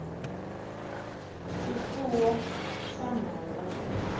swifuwo swa nhova